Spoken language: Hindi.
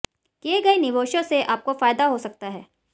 किए गए निवेशों से आपको फायदा हो सकता है